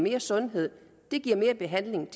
ikke sådan at ved at have den